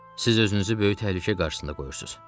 Siz özünüzü böyük təhlükə qarşısında qoyursunuz.